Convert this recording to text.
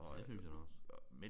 Det synes jeg da også